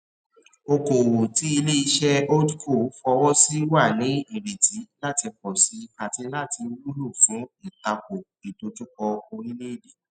okoòwò tí ilé iṣé holdco fowó sí wà ní ìrètí láti pòsi àti láti wúlò fún ìtako ìdojúkọ orílèèdè